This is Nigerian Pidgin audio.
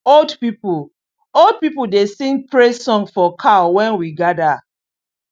old people old people dey sing praise song for cow when we gather